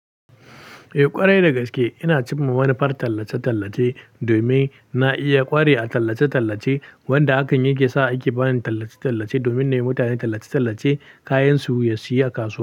Eh ƙwarai dagaske ina cim ma manufar tallace-tallace domin na iya ƙware a tallace-tallace wanda hakan yake sa ake bani tallace-tallace domin na yi wa mutane tallace-tallace kayansu ya siyu a kasuwa.